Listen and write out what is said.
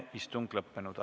Kohtumiseni homme!